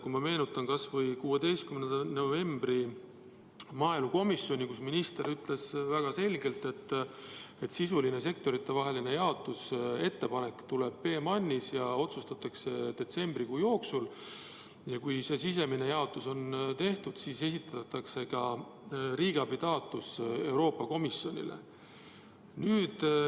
Ma meenutan kas või 16. novembril toimunud maaelukomisjoni istungit, kus minister ütles väga selgelt, et sisuline sektoritevahelise jaotuse ettepanek tehakse PMAN-is ja otsustatakse detsembrikuu jooksul ning kui see sisemine jaotus on tehtud, siis esitatakse ka riigiabitaotlus Euroopa Komisjonile.